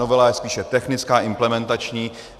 Novela je spíše technická, implementační.